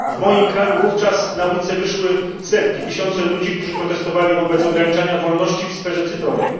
W moim kraju wówczas na ulice wyszły setki, tysiące ludzi, którzy protestowali wobec ograniczania wolności w sferze cyfrowej.